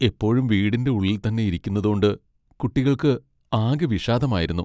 എപ്പോഴും വീടിന്റെ ഉള്ളിൽ തന്നെ ഇരിക്കുന്നതോണ്ട് കുട്ടികൾക്ക് ആകെ വിഷാദമായിരുന്നു .